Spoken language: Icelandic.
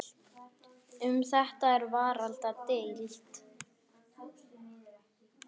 Um þetta er varla deilt.